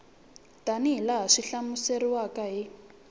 tanihi laha swi hlamuseriweke hi